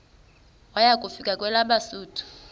waya kufika kwelabesuthu